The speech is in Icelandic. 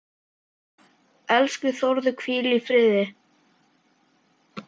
Elsku Þórður, hvíl í friði.